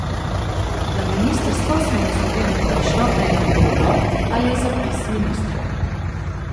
Na ministrstvo smo naslovili prošnjo, naj nam povedo, ali je zapis ministrov.